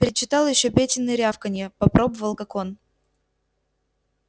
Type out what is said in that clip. перечитал ещё петины рявканья попробовал как он